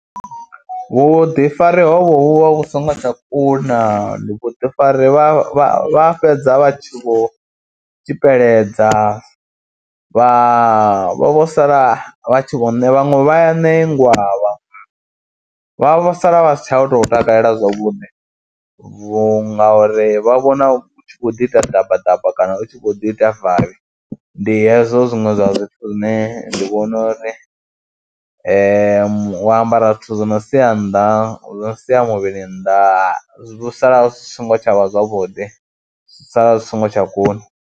Vhuḓifari hovho vhu vha vhu songo tsha kuna ndi vhuḓifari, vha vha fhedza vha tshi vho tsikeledza vha, vha vho sala vha tshi vho ne, vhaṅwe vha ya ṋengwa vha vha sala vha si tsha u tou takalela zwavhuḓi vhunga, ngauri vha vhona u tshi khou ḓi ita ḓabaḓaba kana u tshi khou ḓi ita vavhi. Ndi hezwo zwiṅwe zwa zwithu zwine ndi vhona uri u ambara zwithu zwi no sia nnḓa, zwo no sia muvhili nnḓa zwi ḓo sala zwi songo tsha vha zwavhuḓi zwi sala zwi songo tsha kuna.